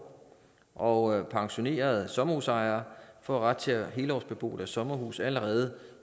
og pensionerede sommerhusejere får ret til at helårsbebo deres sommerhus allerede